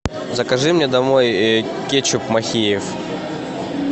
закажи мне домой кетчуп махеев